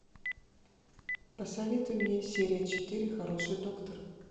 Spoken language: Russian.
посоветуй мне серия четыре хороший доктор